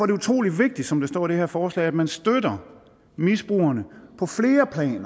det utrolig vigtigt som der står i det her forslag at man støtter misbrugerne